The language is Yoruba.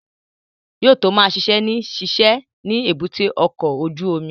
Yóò tó ma ṣiṣẹ́ ní ṣíṣe ni èbúté ọkọ̀ ojú omi